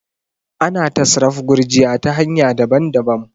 ana satraf gurjiya ta hanya daban-dabam